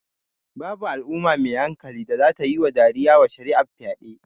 Babu Al'umma mai hankali da zata tayi dariya wa shari'ar fyaɗe